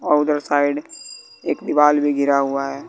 और उधर साइड एक दीवाल भी गिरा हुआ है।